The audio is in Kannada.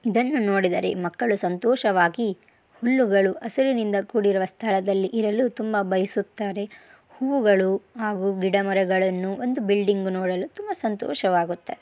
ಇದನ್ನು ನೋಡಿದರೆ ಮಕ್ಕಳು ಸಂತೋಷವಾಗಿ ಹುಲ್ಲುಗಳು ಹಸುರಿನಿಂದ ಕೂಡಿರುವ ಸ್ಥಳದಲ್ಲಿ ಇರಲು ತುಂಬಾ ಬಯಸುತ್ತಾರೆ. ಹೂವುಗಳು ಹಾಗು ಗಿಡ ಮರಗಳನ್ನು ಒಂದು ಬಿಲ್ಡಿಂಗ್ ನೋಡಲು ತುಂಬಾ ಸಂತೋಷವಾಗುತ್ತೆ.